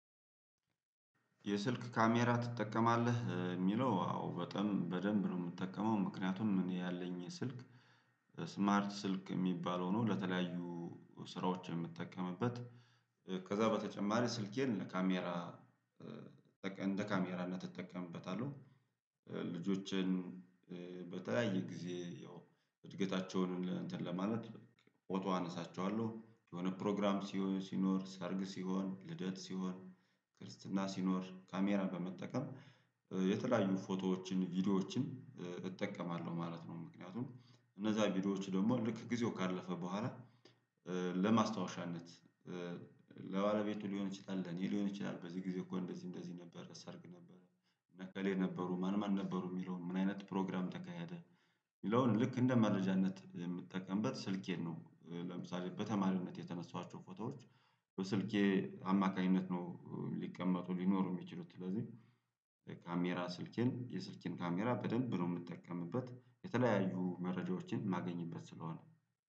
የስልክ ካሜራ ትጠቀማለህ የሚለው በጣም በደንብ ነው የምትጠቀመው ምክንያቱም እኔ ያለኝ ስልክ ስማርት ስልክ የሚባለው ነው። ለተለያዩ ስራዎች የምትጠቀምበት ከዛ በተጨማሪ ስልኬን ለካሜራ እንደ ካሜራነት እጠቀምበታለሁ። ልጆችን በተለያየ ጊዜ ያው እድገታቸውን እንትን ለማለት ፎቶ አነሳቸዋለሁ የሆነ ፕሮግራም ሲኖር ሰርግ ሲሆን ልደት ሲሆን ክርስትና ሲኖር ካሜራ በመጠቀም የተለያዩ ፎቶዎችን ቪዲዮዎችን እጠቀማለሁ ማለት ነው። ምክንያቱም እነዛ ቪዲዮዎች ደግሞ ልክ ጊዜው ካለፈ በኋላ ለማስታወሻነት ለአለቤቱ ሊሆን ይችላል ለኔ ሊሆን ይችላል። በዚህ ጊዜ እኮ እንደዚህ እንደዚህ ነበረ ሰርግ ነበረ እነከሌ ነበሩ ማን ማን ነበሩ የሚለውን ምን አይነት ፕሮግራም ተካሄደ? የሚለውን ልክ እንደ መረጃነት የምትጠቀምበት ስልኬን ነው። ለምሳሌ በተማሪነት የተነሳኋቸው ፎታዎች በስልኬ አማካኝነት ነው ሊቀመጡ ሊኖሩ የሚችሉት። ስለዚህ ካሜራ ስልኬን የስልኬን ካሜራ በደንብ ነው የምንጠቀምበት የተለያዩ መረጃዎችን ማገኝበት ስለሆነ